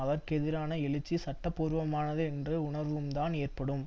அதற்கெதிரான எழுச்சி சட்ட பூர்வமானது என்று உணர்வும் தான் ஏற்படும்